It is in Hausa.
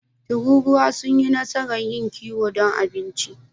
Tururuwa sun yi nasarar yin kiwo don abinci.